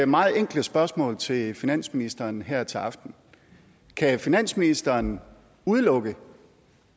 meget enkle spørgsmål til finansministeren her til aften kan finansministeren udelukke